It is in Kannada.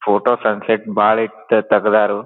ಫೋಟೋ ಸನ್ಸೆಟ್ ಬಹಳ ಇತ್ತು ತೆಗೆದಾರು.